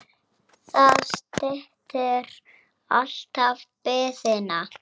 Það styttir alltaf biðina.